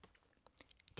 DR K